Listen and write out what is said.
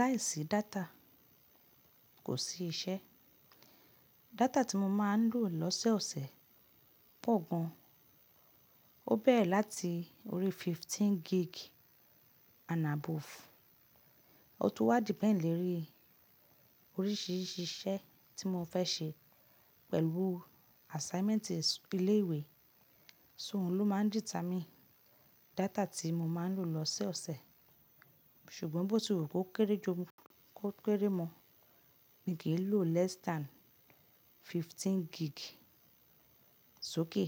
Láìsí data kò sí iṣẹ́. Data tí mo máa ń lò lọ́sẹ̀ ọ̀sẹ̀ pọ̀ gan an, ó bẹ̀rẹ̀ láti orí fifteen gig and above. Ó tun wá depend lori oríṣìíríṣìí iṣẹ́ tí mo fẹ́ ṣe pẹ̀lú assignment ilé ìwé, ṣóhun ló máa ń dìta mi data tí mo máa ń lò lọ́sẹ̀ ọ̀sẹ̀. Ṣùgbọ́n bó ti wù kó kéré ju kó kéré mọ́ mi kí n lò less than fifteen gig sókè